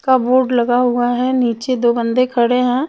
का बोर्ड लगा हुआ है निचे दो बंदे खड़े है.